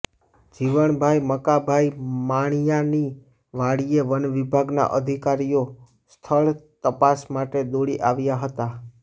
જીવણભાઈ મકાભાઈ માણીયાની વાડીએ વનવિભાગના અધિકારીઓ સ્થળ તપાસ માટે દોડી આવ્યા હતા